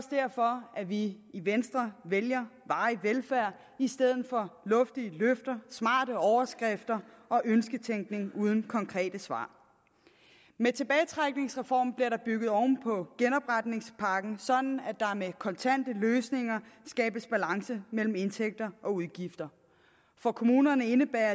derfor at vi i venstre vælger varig velfærd i stedet for luftige løfter smarte overskrifter og ønsketænkning uden konkrete svar med tilbagetrækningsreformen bliver der bygget oven på genopretningspakken sådan at der med kontante løsninger skabes balance mellem indtægter og udgifter for kommunerne indebærer